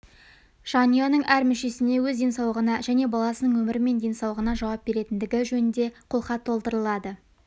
жанұяның әр мүшесіне өз денсаулығына және баласының өмірі мен денсаулығына жауап беретіндігі жөнінде қолхат толтырылады